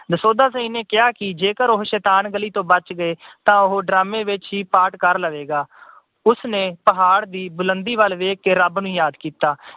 ਦਸੌਂਧਾ ਸਿੰਘ ਨੇ ਕਿਹਾ ਕਿ ਜੇਕਰ ਉਹ ਸ਼ੈਤਾਨ ਗਲੀ ਤੋਂ ਬਚ ਗਏ ਤਾਂ ਉਹ drama ਵਿੱਚ ਵੀ part ਕਰ ਲਵੇਗਾ। ਉਸਨੇ ਪਹਾੜ ਦੀ ਬੁਲੰਦੀ ਵੱਲ ਦੇਖ ਕੇ ਰੱਬ ਨੂੰ ਯਾਦ ਕੀਤਾ।